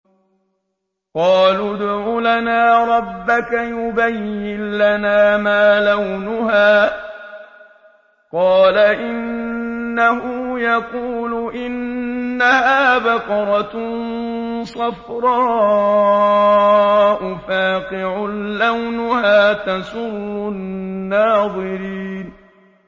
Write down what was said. قَالُوا ادْعُ لَنَا رَبَّكَ يُبَيِّن لَّنَا مَا لَوْنُهَا ۚ قَالَ إِنَّهُ يَقُولُ إِنَّهَا بَقَرَةٌ صَفْرَاءُ فَاقِعٌ لَّوْنُهَا تَسُرُّ النَّاظِرِينَ